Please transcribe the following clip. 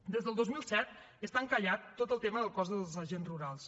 des del dos mil set està encallat tot el tema del cos dels agents rurals